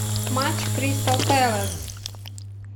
матч кристал пэлас